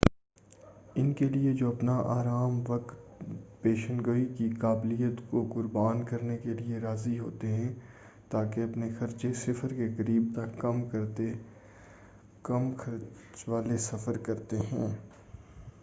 ان کے لیے جو اپنا آرام وقت پیشن گوئی کی قابلیت کو قربان کرنے کے لیے راضی ہوتے ہیں تا کہ اپنے خرچے صفر کے قریب تک کم کرتے ہیں کم خرچ والے سفر کرتے ہیں